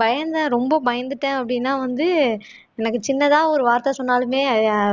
பயந்தேன் ரொம்ப பயந்துட்டேன் அப்படின்னா வந்து எனக்கு சின்னதா ஒரு வார்த்தை சொன்னாலுமே